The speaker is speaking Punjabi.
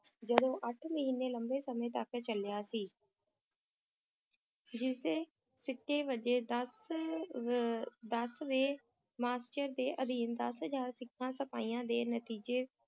ਜਦੋਂ ਅੱਠ ਮਹੀਨੇ ਲੰਬੇ ਸਮੇਂ ਤੱਕ ਚੱਲਿਆ ਸੀ ਜਿਸਦੇ ਸਿੱਟੇ ਵਜੋਂ ਦਸ ਵੇਂ ਦਸਵੇਂ master ਦੇ ਅਧੀਨ ਦਸ ਹਜ਼ਾਰ ਸਿੱਖਾਂ ਸਿਪਾਹੀਆਂ ਦੇ ਨਤੀਜੇ